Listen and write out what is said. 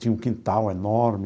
Tinha um quintal enorme.